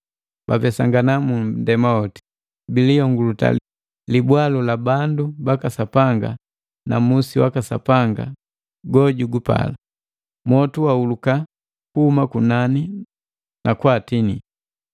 Bapesangana mu nndema woti, biliyonguluta libwalu la bandu baka Sapanga na musi waka Sapanga go jugupala. Mwotu wahulika kuhuma kunani na kwaatinii.